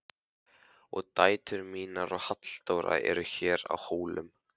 Og dætur mínar og Halldóra eru hér á Hólum.